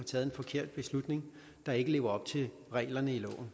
taget en forkert beslutning der ikke lever op til reglerne i loven